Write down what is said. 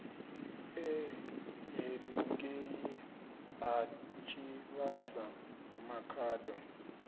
e henengei ha tshivhasa makhado